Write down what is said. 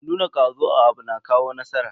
Nuna kwazo a abu na kawo nasara.